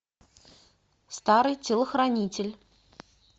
старый телохранитель